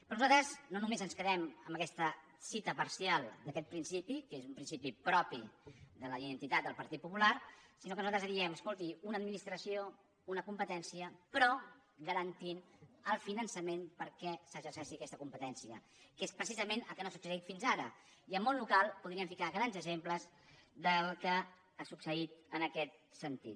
però nosaltres no només ens quedem amb aquesta cita parcial d’aquest principi que és un principi propi de la identitat del partit popular sinó que nosaltres diem escolti una administració una competència però garantint el finançament perquè s’exerceixi aquesta competència que és precisament el que no ha succeït fins ara i al món local podríem ficar grans exemples del que ha succeït en aquest sentit